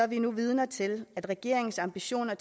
vi nu vidner til at regeringens ambitioner